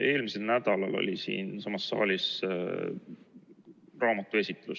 Eelmisel nädalal oli siinsamas saalis raamatu esitlus.